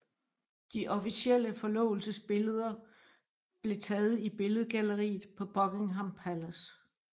De officielle forlovelsesbilleder blev taget i billedgalleriet på Buckingham Palace